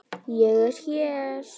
Ég er hér.